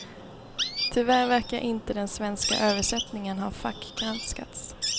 Tyvärr verkar inte den svenska översättningen ha fackgranskats.